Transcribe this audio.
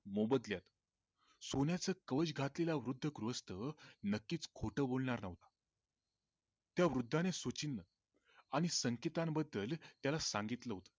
मोबदल्यात सोन्याचं कवच घातलेला वृद्ध गृहस्त नक्कीच खोट बोलणार नव्हता त्या वृद्धाने सूचिन्ह आणि संकेतां बद्दल त्याला सांगितलं होतं